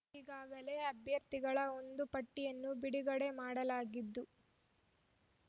ಈಗಾಗಲೇ ಅಭ್ಯರ್ಥಿಗಳ ಒಂದು ಪಟ್ಟಿಯನ್ನು ಬಿಡುಗಡೆ ಮಾಡಲಾಗಿದ್ದು